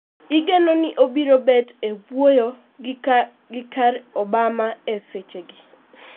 Igeno ni obro bet e wuoyo gi ker Obama e seche gi